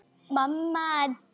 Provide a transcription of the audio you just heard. Hvíldu í friði, amma mín.